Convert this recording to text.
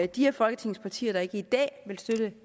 de af folketingets partier der ikke i dag vil støtte